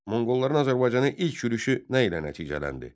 Monqolların Azərbaycanı ilk yürüşü nə ilə nəticələndi?